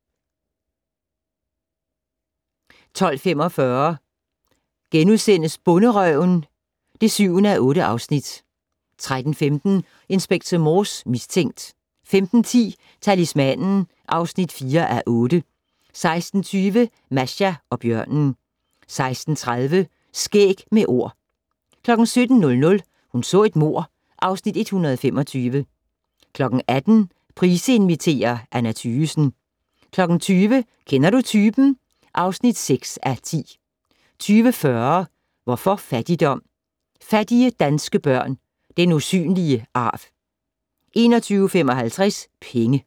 12:45: Bonderøven (7:8)* 13:15: Inspector Morse: Mistænkt 15:10: Talismanen (4:8) 16:20: Masha og bjørnen 16:30: Skæg med Ord 17:00: Hun så et mord (Afs. 125) 18:00: Price inviterer - Anna Thygesen 20:00: Kender du typen? (6:10) 20:40: Hvorfor fattigdom? - Fattige danske børn - den usynlige arv 21:55: Penge